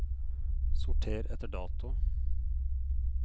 sorter etter dato